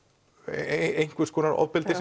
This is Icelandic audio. einhvers konar ofbeldi